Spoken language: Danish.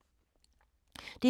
DR2